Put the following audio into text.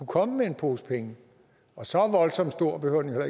komme med en pose penge og så voldsomt stor behøver den jo